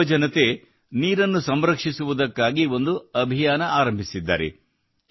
ಇಲ್ಲಿನ ಯುವಜನತೆ ನೀರನ್ನು ಸಂರಕ್ಷಿಸುವುದಕ್ಕಾಗಿ ಒಂದು ಅಭಿಯಾನ ಆರಂಭಿಸಿದ್ದಾರೆ